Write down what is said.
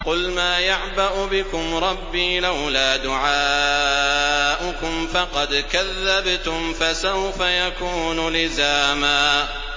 قُلْ مَا يَعْبَأُ بِكُمْ رَبِّي لَوْلَا دُعَاؤُكُمْ ۖ فَقَدْ كَذَّبْتُمْ فَسَوْفَ يَكُونُ لِزَامًا